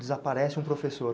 Desaparece um professor?